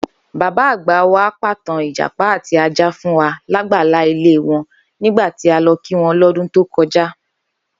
Bábá àgbà wa pàtàn ìjàpá àti ajá fún wa lágbàlá ilé wo̩n nígbà ta lo̩ kí wo̩n lọ́dún tó ko̩já